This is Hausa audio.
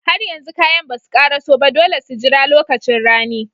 Har yanzu kayan basu ƙaraso ba, dole su jira lokacin rani.